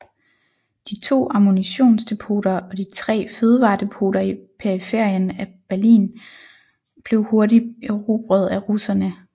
De to ammunitionsdepoter og de tre fødevaredepoter i periferien af Berlin blev hurtigt erobret af russerne